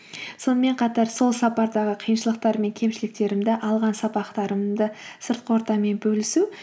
сонымен қатар сол сапардағы қиыншылықтар мен кемшіліктерімді алған сабақтарымды сыртқы ортамен бөлісу